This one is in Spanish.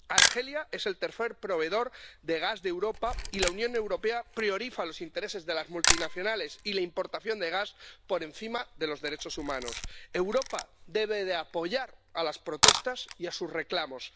Argelia es el tercer proveedor de gas de Europa y la Unión Europea prioriza los intereses de las multinacionales y la importación de gas por encima de los derechos humanos. Europa debe apoyar las protestas y sus reclamos.